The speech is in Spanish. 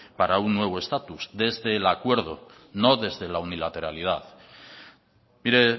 para un nuevo estatus desde el acuerdo no desde la unilateralidad mire